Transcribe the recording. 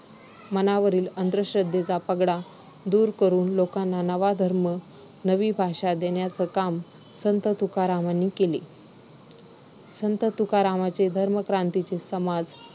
मनावरील अंधश्रद्धेचा पगडा दूर करून लोकांना नवा धर्म, नवी भाषा देण्याचं काम संत तुकारामांनी केले. संत तुकारामांचे धर्मक्रांतीचे समाज